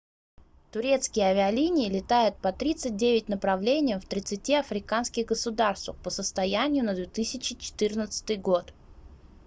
турецкие авиалинии летают по 39 направлениям в 30 африканских государствах по состоянию на 2014 год